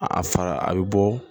A fara a bɛ bɔ